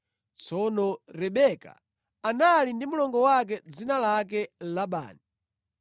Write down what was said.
Tsono Rebeka anali ndi mlongo wake dzina lake Labani.